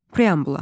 Preambula.